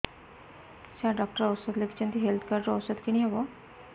ସାର doctor ଔଷଧ ଲେଖିଛନ୍ତି health card ରୁ ଔଷଧ କିଣି ହେବ